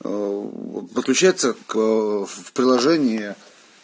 подключается к в приложение